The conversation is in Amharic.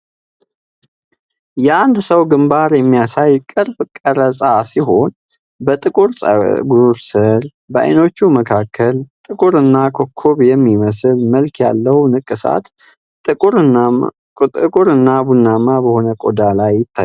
የአንድን ሰው ግንባር የሚያሳይ ቅርብ ቀረጻ ሲሆን፤ በጥቁር ጸጉር ስር፣ በዓይኖቹ መካከል፣ ጥቁርና ኮከብ የሚመስል መልክ ያለው ንቅሳት ጥቁርና ቡናማ በሆነ ቆዳ ላይ ይታያል።